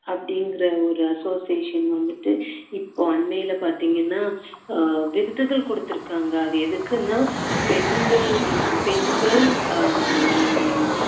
அப்படிங்குற ஒரு association வந்துட்டு இப்போ அண்மையில பாத்தீங்கன்னா ஆஹ் விருதுகள் கொடுத்திருக்காங்க அது எதுக்குன்னா பெண்கள் வந்து பெண்கள் ஆஹ் ஹம்